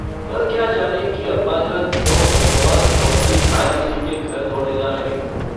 वह क्या जाने कि अब्बाजान क्यों बदहवास चौधरी कायमअली के घर दौड़े जा रहे हैं।